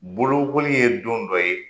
Bolokoli ye don dɔ ye